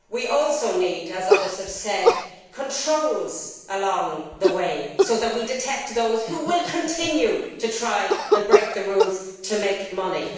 We also need, as others have said, controls along the way so that we detect those who continue to try and break the rules to make money.